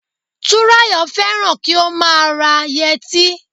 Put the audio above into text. Túnráyọ̀ fẹ́ràn kí ó má a ra yẹtí